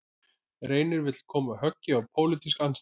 Reynir vill koma höggi á pólitíska andstæðinga